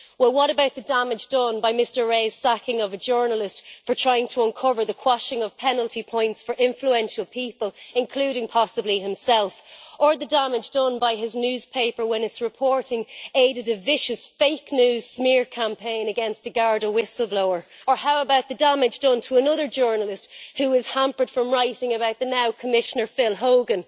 What about the damage done by Mr Rae's sacking of a journalist for trying to uncover the quashing of penalty points for influential people, including possibly himself, or the damage done by his newspaper when its reporting aided a vicious fake news smear campaign against a Garda whistleblower, or how about the damage done to another journalist who is hampered from writing about the now Commissioner Phil Hogan?